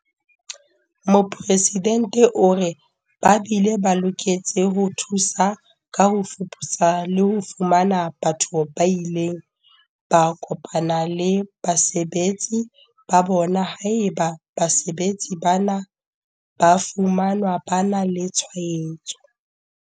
Mopresidente o re, "Ba bile ba loketse ho thusa ka ho fuputsa le ho fumana batho ba ileng ba kopana le basebetsi ba bona haeba basebetsi bana ba fumanwa ba na le tshwaetso."